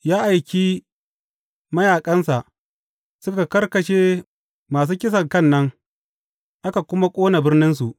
Ya aiki mayaƙansa suka karkashe masu kisankan nan, aka kuma ƙone birninsu.